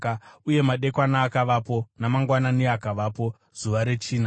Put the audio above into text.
Uye madekwana akavapo, namangwanani akavapo, zuva rechina.